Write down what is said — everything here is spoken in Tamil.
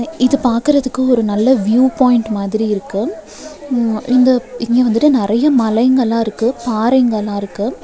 இது பாக்கறதுக்கு ஒரு நல்ல வியூ பாயிண்ட் மாதிரி இருக்கு ம் இந்த இங்க வந்துட்டு நெறைய மலைங்கள்லா இருக்கு பாறைங்களலா இருக்கு.